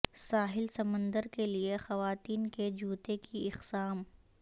ساحل سمندر کے لئے خواتین کے جوتے کی اقسام